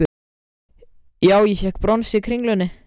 Já ég fékk brons í kringlunni.